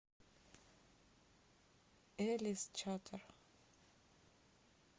элис чатер